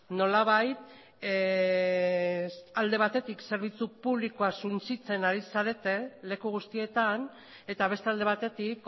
nolabait alde batetik zerbitzu publikoa suntsitzen ari zarete leku guztietan eta beste alde batetik